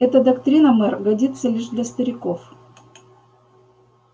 эта доктрина мэр годится лишь для стариков